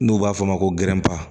N'u b'a fɔ o ma ko gɛrɛnpauwa